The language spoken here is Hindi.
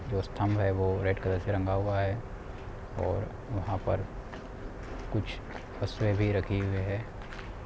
जो स्तंभ है वो रेड़ कलर से रंगा हुआ है| और वहाँ पर कुछ वस्तुएं भी रखी हुई है।